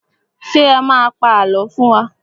Ṣé ẹ má a pa àlọ́ fún wa?